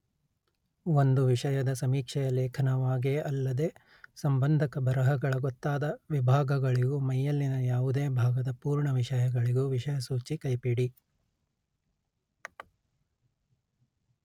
ಒಂದು ವಿಷಯದ ಸಮೀಕ್ಷೆಯ ಲೇಖನವಾಗೇ ಅಲ್ಲದೆ ಸಂಬಂಧಕ ಬರಹಗಳ ಗೊತ್ತಾದ ವಿಭಾಗಗಳಿಗೂ ಮೈಯಲ್ಲಿನ ಯಾವುದೇ ಭಾಗದ ಪೂರ್ಣ ವಿಷಯಗಳಿಗೂ ವಿಷಯಸೂಚಿ ಕೈಪಿಡಿ